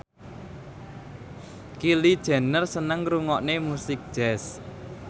Kylie Jenner seneng ngrungokne musik jazz